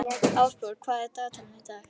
Ásborg, hvað er á dagatalinu í dag?